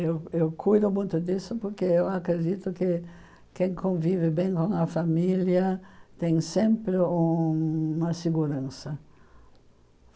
Eu eu cuido muito disso porque eu acredito que quem convive bem com a família tem sempre uma segurança.